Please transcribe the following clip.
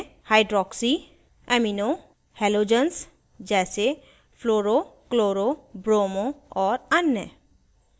hydroxy amino halogens जैसे fluro chloro bromo और अन्य